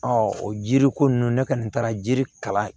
o jiriko ninnu ne kɔni taara jiri kalan